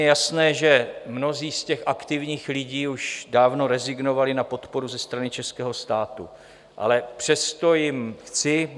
Je jasné, že mnozí z těch aktivních lidí už dávno rezignovali na podporu ze strany českého státu, ale přesto jim chci...